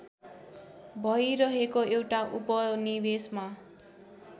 भइरहेको एउटा उपनिवेशमा